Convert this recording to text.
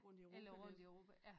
Eller rundt i Europa ja